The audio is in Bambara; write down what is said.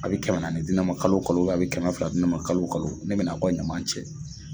A' bɛ kɛmɛ naani di ne ma kalo kalo a bɛ kɛmɛ fila di ne ma kalo kalo ne bɛna aw ka ɲaman cɛ.